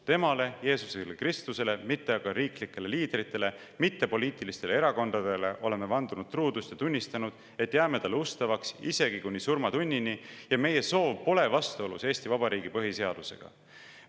Temale, Jeesus Kristusele, mitte aga riiklikele liidritele, mitte poliitilistele erakondadele oleme vandunud truudust ja tunnistanud, et jääme Talle ustavaks isegi kuni surmatunnini ja meie soov pole vastuolus Eesti Vabariigi Põhiseadusega.